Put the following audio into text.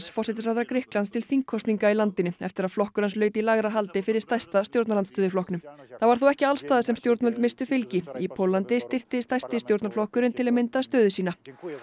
forsætisráðherra Grikklands til þingkosninga í landinu eftir að flokkur hans laut í lægra haldi fyrir stærsta stjórnarandstöðuflokknum það var þó ekki alls staðar sem stjórnvöld misstu fylgi í Póllandi styrkti stærsti stjórnarflokkurinn til að mynda stöðu sína